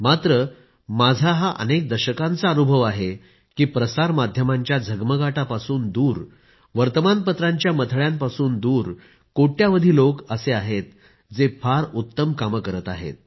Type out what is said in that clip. मात्र माझा हा अनेक दशकांचा अनुभव आहे की प्रसारमाध्यमांच्या झगमगाटापासून दूर वर्तमानपत्रांच्या मथळ्यांपासून दूर कोटी कोटी लोक आहे जे फार उत्तम कामे करत आहेत